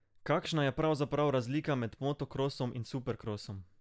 Kakšna je pravzaprav razlika med motokrosom in superkrosom?